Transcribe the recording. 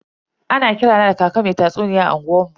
Ana kira na da kaka mai tatsuniya a unguwar mu.